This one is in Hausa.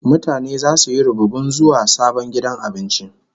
Mutane zasu yi rubibin zuwa sabon gidan abincin.